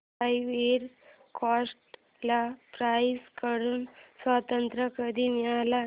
ivory Coast ला France कडून स्वातंत्र्य कधी मिळाले